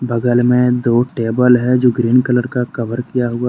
बगल में दो टेबल हैं जो ग्रीन कलर का कवर किया हुआ है।